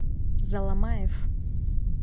заломаев